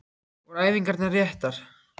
Voru æfingarnar réttar?